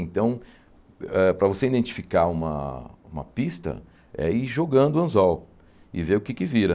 Então, ãh para você identificar uma uma pista, é ir jogando o anzol e ver o que é que vira.